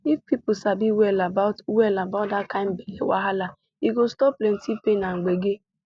if people sabi well about well about that kind belle wahala e go stop plenty pain and gbege